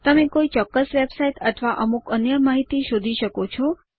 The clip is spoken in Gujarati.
તમે કોઈ ચોક્કસ વેબસાઇટ અથવા અમુક અન્ય માહિતી શોધી શકો છો